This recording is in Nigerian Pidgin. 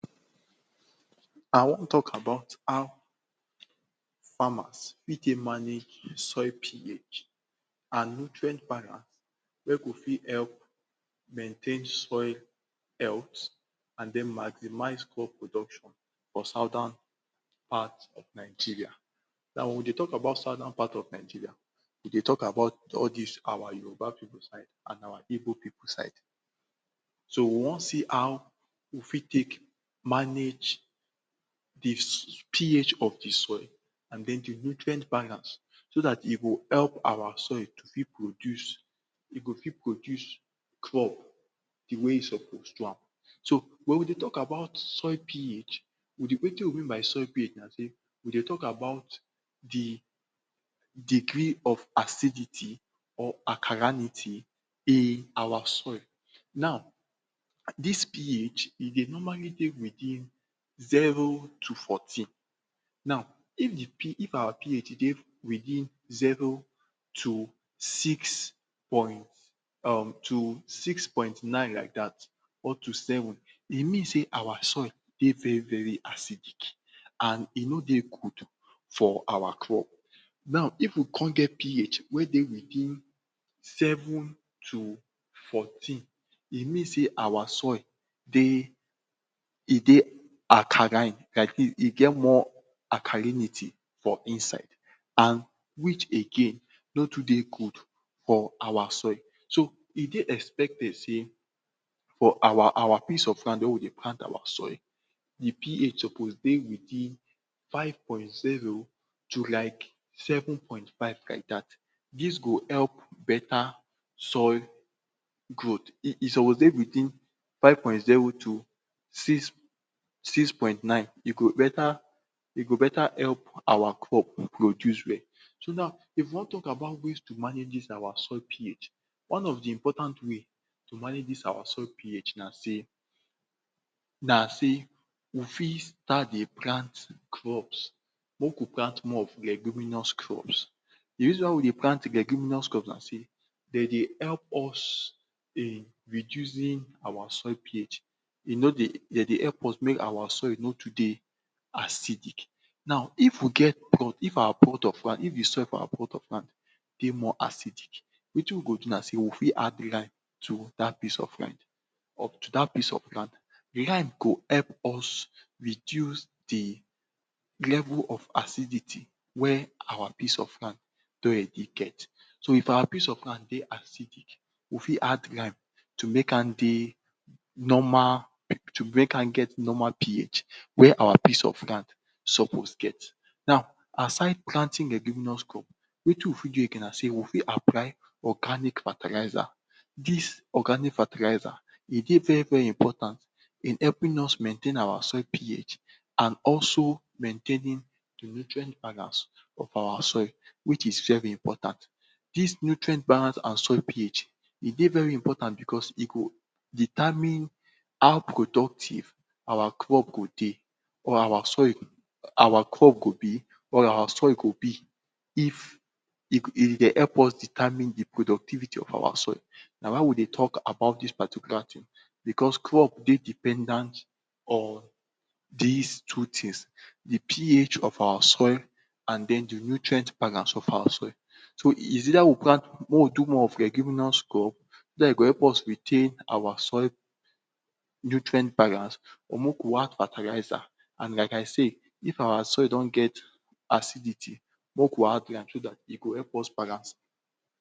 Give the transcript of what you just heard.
I wan talk about how farmers fit take ey manage soil pH an nutrient balance wey go fit help maintain soil health an then maximize crop production for southern part of Nigeria. Nau we dey talk about southern part of Nigeria, we dey talk about all dis our Yoruba pipu side, an our Igbo pipu side. So, we wan see how we fit take manage di pH of di soil an then di nutrient balance so dat e go our soil to fit produce e go fit produce crop di way e suppose do am. So, wen we dey talk about soil pH we dey wetin we mean by soil pH na sey we dey talk about di degree of acidicity or alkalinity in our soil. Nau, dis pH, e dey normally dey within zero to fourteen. Nau, if di p if our pH dey within zero to six point um to six point nine like dat or to seven, e mean sey our soil dey very-very acidic, an e no dey good for our crop. Nau if we con get pH wey dey within seven to fourteen, e mean sey our soil dey e dey alkaline like e e get more alkalinity for inside, an which again no too dey good for our soil. So, e dey expected sey for our our piece of land wey we dey plant of soil, di pH suppose dey within five point zero to like seven point five like dat. Dis go help beta soil growth. E e suppose dey within five point zero to six six point nine. E go beta e go beta help our crop produce well. So nau, if we wan talk about ways to manage dis our soil pH, one of di important way to manage dis our soil pH na sey na sey we fit start dey plant crops, make we plant more of leguminous crops. Di reason why we dey plant leguminous crop na sey de dey help us in reducing our soil pH. E no dey de dey help us make our soil no too dey acidic. Nau, if we get plot, if our plot of land, if di soil for our plot of land dey more acidic, wetin we go do na sey we fit add lime to dat piece of land to dat piece of land. Lime go help us reduce di level of acidicity wey our piece of land don already get. So, if our piece of land dey acidic, we fit add lime to make an dey normal to make an get normal pH wey our piece of land suppose get. Nau, aside planting leguminous crop, wetin we fit do again na sey we fit apply organic fertilizer. Dis organic fertilizer e dey very-very important in helping us maintain our soil pH an also maintaining di nutrient balance of our soil which is very important. Dis nutrient balance an soil pH e dey very important becos e go determine how productive our crop go dey or our soil our crop go be or our soil go be if e dey help us determine di productivity of our soil. Na why we dey talk about dis particular tin becos crop dey dependant on dis two tins di pH of our soil, an then di nutrient balance of our soil. So, it's either we plant make we do more of leguminous crop so dat e go help us retain our soil nutrient balance or make we add fertilizer. An like I say, if our soil don get acidicity, make we add lime so dat e go help us balance.